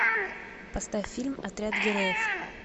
поставь фильм отряд героев